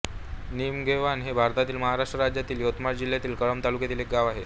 निमगव्हाण हे भारतातील महाराष्ट्र राज्यातील यवतमाळ जिल्ह्यातील कळंब तालुक्यातील एक गाव आहे